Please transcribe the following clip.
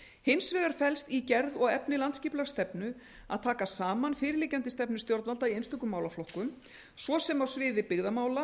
hins vegar felst í gerð og efni landsskipulagsstefnu að taka saman fyrirliggjandi stefnu stjórnvalda í einstökum málaflokkum svo sem á sviði byggðamála